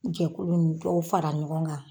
Jɛkulu ni dɔw fara ɲɔgɔn kan.